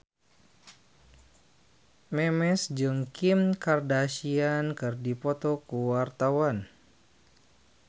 Memes jeung Kim Kardashian keur dipoto ku wartawan